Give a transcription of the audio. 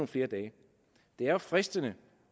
flere dage det er jo fristende